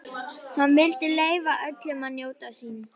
Hann vildi leyfa öllum að njóta sín.